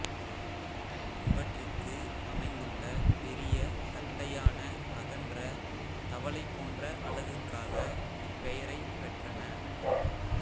இவற்றிற்கு அமைந்துள்ள பெரிய தட்டையான அகன்ற தவளை போன்ற அலகுக்காக இப்பெயரைப் பெறறன